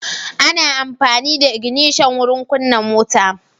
Ana amfani da ignishan wurin kunna mota.